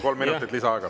Kolm minutit lisaaega.